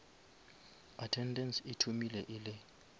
attendance e thomile e le